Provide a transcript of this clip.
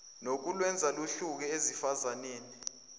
nokulwenza luhluke esifazaneni